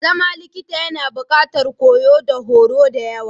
Zama likita yAna buƙatar koyo da horo da yawa.